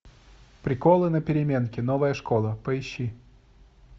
приколы на переменке новая школа поищи